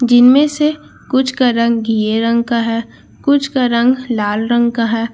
जिनमें से कुछ का रंग घिये रंग का है कुछ का रंग लाल रंग का है।